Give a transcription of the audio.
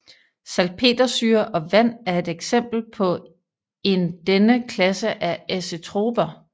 Salpetersyre og vand er et eksempel på en denne klasse af azetroper